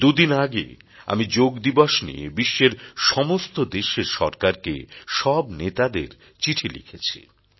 দু দিন আগে আমি যোগ দিবস নিয়ে বিশ্বের সমস্ত দেশের সরকারকে সব নেতাদের চিঠি লিখেছি